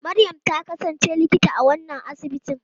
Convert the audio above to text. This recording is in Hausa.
Maryam ta kasance Likita a wannan asibiti.